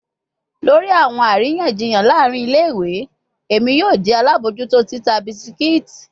Lori awọn ariyanjiyan laarin ile-iwe, Emi yoo jẹ alabojuto tita biscuits